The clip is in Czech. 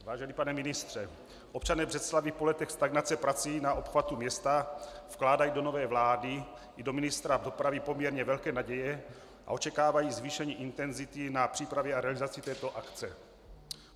Vážený pane ministře, občané Břeclavi po letech stagnace prací na obchvatu města vkládají do nové vlády i do ministra dopravy poměrně velké naděje a očekávají zvýšení intenzity na přípravě a realizace této akce.